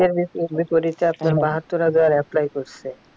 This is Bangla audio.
বিপরীতে আপনার বাহাত্তর হাজার apply করছে